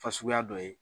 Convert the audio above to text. Fasuguya dɔ ye